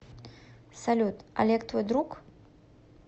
салют олег твой друг